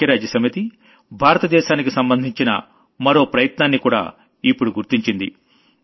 ఐక్యరాజ్య సమితి భారత దేశానికి సంబంధించిన మరో ప్రయత్నాన్నికూడా ఇప్పుడు గుర్తించింది